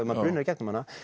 maður brunar í gegnum hana